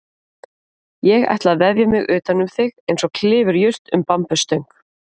Ég ætla að vefja mig utanum þig einsog klifurjurt um bambusstöng.